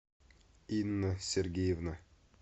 инна сергеевна